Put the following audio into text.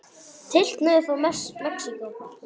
Tylltir niður tá í Mexíkó.